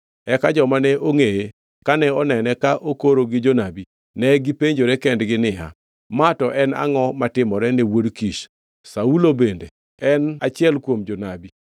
Eka joma ne ongʼeye kane onene ka okoro gi jonabi, negipenjore kendgi niya, “Ma to en angʼo matimore ne wuod Kish? Saulo bende en achiel kuom jonabi?”